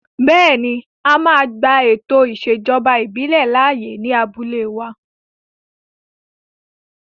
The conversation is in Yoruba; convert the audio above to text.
Bẹ́ẹ̀ni, a máa gba ètò ìṣèjọba ìbílẹ̀ láàyè ní abúlé wa